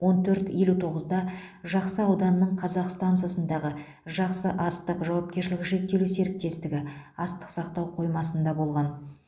он төрт елу тоғызда жақсы ауданының казақ стансасындағы жақсы астық жауапкершілігі шектеулі серіктестігі астық сақтау қоймасында болған